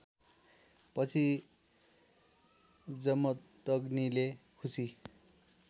पछि जमदग्नीले खुसी